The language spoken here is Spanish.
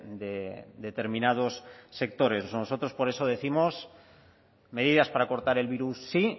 de determinados sectores nosotros por eso décimos medidas para cortar el virus sí